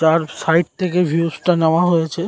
তার সাইড থেকে ভিউস -টা নেওয়া হয়েছে।